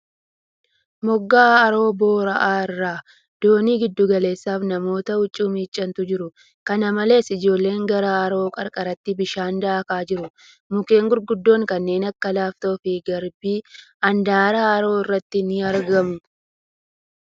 Moggaa haroo boora'aa irra doonii giddu galeessa fi namoota huccuu miicantu jiru. Kana malees, Ijoolleen gara haroo qarqaraaatti bishaan daakaa jiru. Mukkeen gurguddoon kanneen akka laaftoo fi garbii handaara haroo irratti ni argamu.